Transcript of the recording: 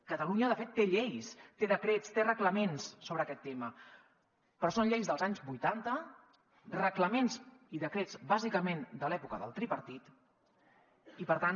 catalunya de fet té lleis té decrets té reglaments sobre aquest tema però són lleis dels anys vuitanta reglaments i decrets bàsicament de l’època del tripartit i per tant